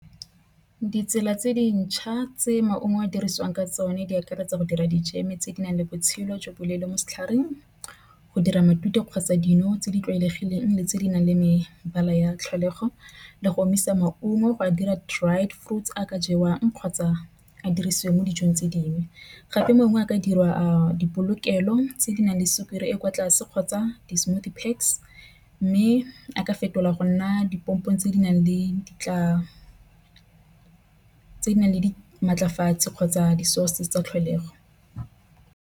Ditsela tse dintšha tse maungo a dirisiwang ka tsona di akaretsa go dira dijeme tse di nang le botshelo jo bo leele mo setlhareng. Go dira matute kgotsa dino tse di tlwaelegileng le tse di nang le mebala ya tlholego le go omisa maungo. Go a dira dried fruits tse ka jewang kgotsa a dirisiwe mo dijong tse dingwe. Gape mongwe a ka dirwa a dipolokelo tse di nang le sukiri e kwa tlase kgotsa di-smoothie pass mme a ka fetolwa go nna dipompong tse di nang le dikotla tse di nang le maatlafatsa kgotsa di-sources tsa tlholego.